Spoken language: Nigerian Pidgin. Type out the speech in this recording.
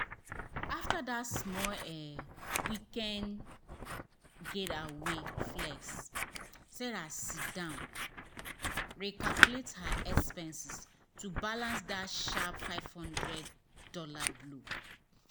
after small weekend um getaway um flex sarah sit down recalculate her expenses to balance that sharp five hundred dollars blow.